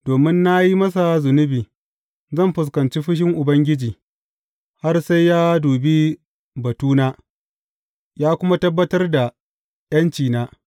Domin na yi masa zunubi, zan fuskanci fushin Ubangiji, har sai ya dubi batuna ya kuma tabbatar da ’yancina.